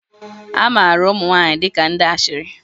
A maara ụmụ nwanyị dị ka ndi asịrị